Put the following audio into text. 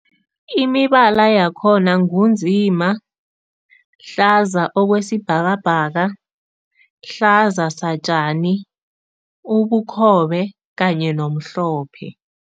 Imibala yakhona ngu nzima, hlaza okwesibhakabhaka, hlaza satjani, ubukhobe kanye nomhlophe.